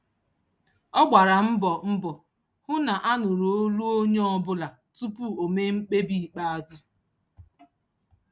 Ọ gbara mbọ mbọ hụ na a nụrụ olu onye ọbụla tupu o mee mkpebi ikpeazụ.